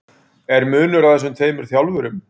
Er munur á þessum tveimur þjálfurum?